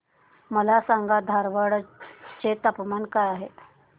मला सांगा धारवाड चे तापमान काय आहे